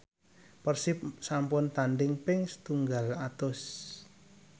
Persib sampun tandhing ping setunggal atus